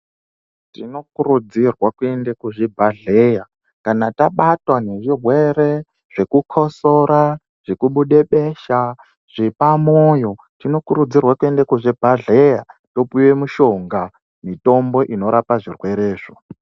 Tinokurudzirwa kuende kuzvibhadhleya kana tabatwa nezvirwre zvekukosora, zvekubude besha, zvepamoyo. Tinokurudzirwa kuenda kuzvibhedhleya, topuwe mishonga, mitombo inorapa zvirwerezvo.